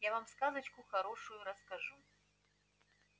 я вам сказочку хорошую расскажу